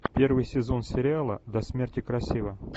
первый сезон сериала до смерти красива